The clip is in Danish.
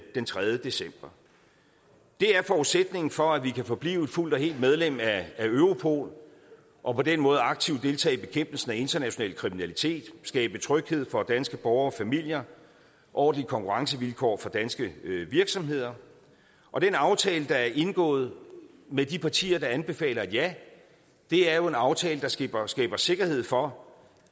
den tredje december det er forudsætningen for at vi kan forblive et fuldt og helt medlem af europol og på den måde aktivt deltage i bekæmpelsen af international kriminalitet skabe tryghed for danske borgere og familier og ordentlige konkurrencevilkår for danske virksomheder og den aftale der er indgået med de partier der anbefaler et ja er jo en aftale der skaber skaber sikkerhed for